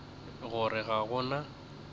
go re ga go na